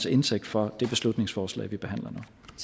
indtægt for det beslutningsforslag vi behandler